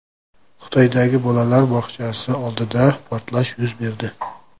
Xitoydagi bolalar bog‘chasi oldida portlash yuz berdi.